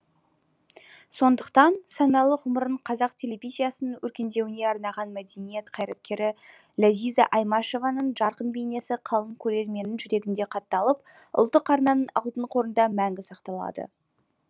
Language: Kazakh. сондықтан саналы ғұмырын қазақ телевизиясының өркендеуіне арнаған мәдениет қайраткері ләзиза аймашеваның жарқын бейнесі қалың көрерменнің жүрегінде қатталып ұлттық арнаның алтын қорында мәңгі сақталады